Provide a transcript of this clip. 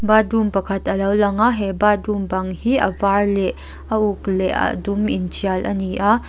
batrum pakhat a lo lang a he batrum bâng hi a vâr leh a uk leh a dum inṭial a ni a.